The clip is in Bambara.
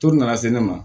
To nana se ne ma